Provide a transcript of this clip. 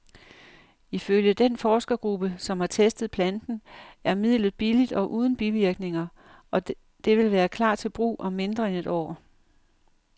Ifølge den forskergruppe, som har testet planten, er midlet billigt og uden bivirkninger, og det vil klar til brug om mindre end et år.